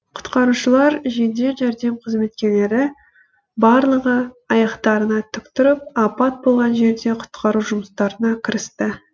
құтқарушылар жедел жәрдем қызметкерлері барлығы аяқтарына тік тұрып апат болған жерде құтқару жұмыстарына кірісті